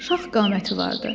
Şax qaməti vardı.